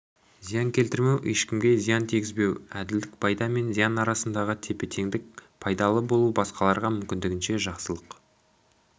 зиян келтірмеу ешкімге зиян тигізбеу әділдік пайда мен зиян арасындағы тепе-теңдік пайдалы болу басқаларға мүмкіндігінше жақсылық